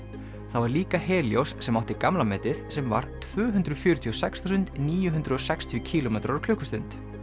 það var líka sem átti gamla metið sem var tvö hundruð fjörutíu og sex þúsund níu hundruð og sextíu kílómetrar á klukkustund